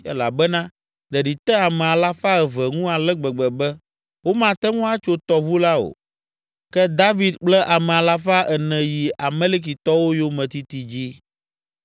elabena ɖeɖi te ame alafa eve ŋu ale gbegbe be womate ŋu atso tɔʋu la o. Ke David kple ame alafa ene yi Amalekitɔwo yometiti dzi.